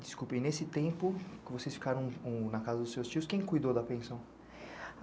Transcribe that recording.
Desculpa, e nesse tempo, como vocês ficaram com... na casa dos seus tios, quem cuidou da pensão?